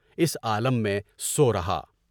اس عالم میں سورہا۔